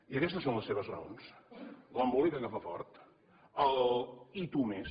i aquestes són les seves raons l’embolica que fa fort el i tu més